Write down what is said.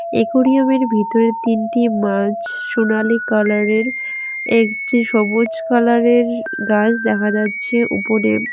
একরিয়ামের ভিতরে তিনটি মাছ সোনালী কালারের একটি সবুজ কালারের গাস দেখা যাচ্ছে উপরে।